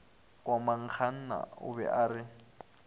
komangkanna o be a re